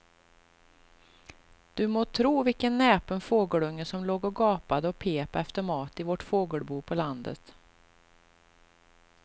Du må tro vilken näpen fågelunge som låg och gapade och pep efter mat i vårt fågelbo på landet.